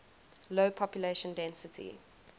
low population density